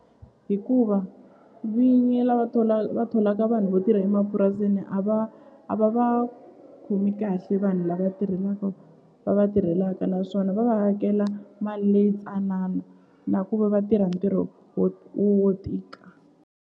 Hikuva vinyi lava va tholaka vanhu vo tirha emapurasini a va a va va khomi kahle vanhu lava tirhelaka va va tirhelaka naswona va va hakela mali leyi ntsanana na ku va va tirha ntirho wo wo tika.